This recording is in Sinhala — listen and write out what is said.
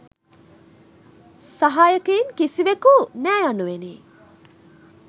සහායකයින් කිසිවෙකු නෑ.’ යනුවෙනි.